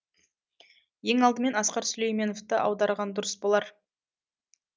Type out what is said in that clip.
ең алдымен асқар сүлейменовты аударған дұрыс болар